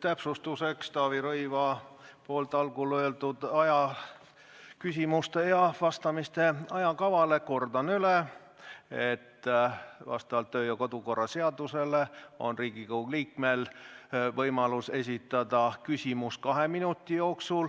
täpsustuseks Taavi Rõivase algul tehtud märkuse peale, mis puudutas küsimuste esitamise ja vastamise ajakava, kordan üle, et vastavalt kodu- ja töökorra seadusele on Riigikogu liikmel võimalus esitada küsimus kahe minuti jooksul.